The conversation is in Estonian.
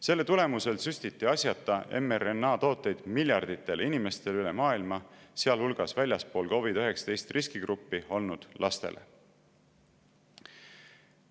Selle tulemusel süstiti asjata mRNA-tooteid miljarditele inimestele üle maailma, sealhulgas väljaspool COVID‑19 riskigruppi olnud lastele.